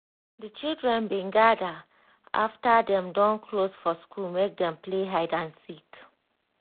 di children bin gather after dem don close for school make dem play hide and seek